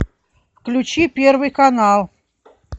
включи первый канал